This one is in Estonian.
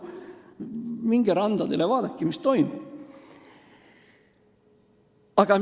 Minge randadele, vaadake, mis toimub!